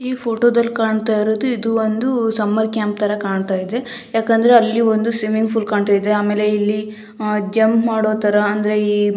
ಈ ಫೋಟೋ ದಲ್ಲಿ ಕಾಣ್ತಾ ಇರುವುದು ಇದು ಒಂದು ಸಮ್ಮರ್ ಕ್ಯಾಂಪ್ ತರಹ ಕಾಣ್ತಾ ಇದೆ ಯಾಕೆಂದ್ರೆ ಅಲಿ ಒಂದು ಸ್ವಿಮ್ಮಿಂಗ್ ಪೂಲ್ ಕಾಣ್ತಾ ಇದೆ ಆಮೇಲೆ ಜಂಪ್ ಮಾಡು ತರಹ ಅಂದ್ರೆ ಈ --